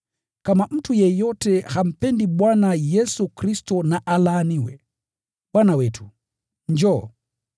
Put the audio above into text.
Kama mtu yeyote hampendi Bwana Yesu Kristo, na alaaniwe. Bwana wetu, njoo.